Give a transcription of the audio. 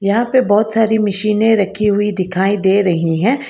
यहां पे बहोत सारी मशीने रखी हुई दिखाई दे रही है।